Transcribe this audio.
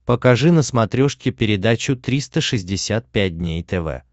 покажи на смотрешке передачу триста шестьдесят пять дней тв